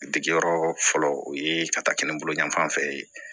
Degeyɔrɔ fɔlɔ o ye ka taa kɛ ne bolo yan fanfɛn ye